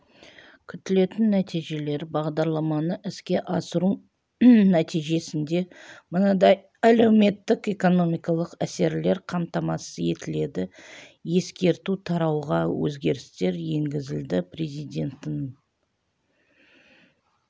күтілетін нәтижелер бағдарламаны іске асыру нәтижесінде мынадай әлеуметтік-экономикалық әсерлер қамтамасыз етіледі ескерту тарауға өзгерістер енгізілді президентінің